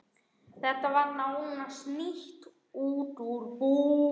Þetta var nánast nýtt út úr búð.